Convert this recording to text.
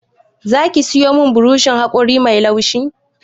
Za ki sayo min burushin haƙori mai laushi?